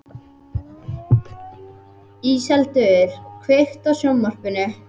Íseldur, kveiktu á sjónvarpinu.